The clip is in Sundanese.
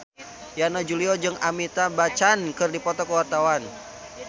Yana Julio jeung Amitabh Bachchan keur dipoto ku wartawan